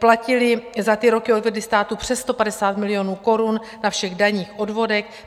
Platili za ty roky, odvedli státu přes 150 milionů korun na všech daních, odvodech.